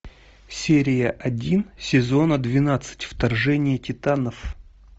серия один сезона двенадцать вторжение титанов